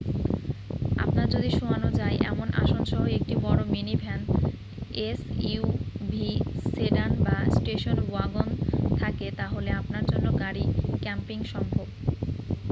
আপনার যদি শোয়ানো যায় এমন আসনসহ একটি বড় মিনিভ্যান এসইউভি সেডান বা স্টেশন ওয়াগন থাকে তাহলে আপনার জন্য গাড়ি ক্যাম্পিং সম্ভব